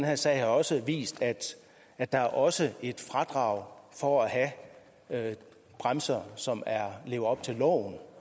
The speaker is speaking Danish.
her sag har også vist at der også er et fradrag for at have bremser som lever op til loven